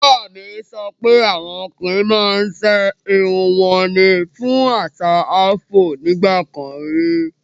Bàbá mi sọ pé awọn ọ̀kùnrin màá n ṣẹ irùn wọn ní fún àṣà Afro nígbàkàn rí.